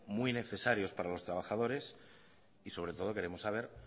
muy necesarios para los trabajadores y sobre todo queremos saber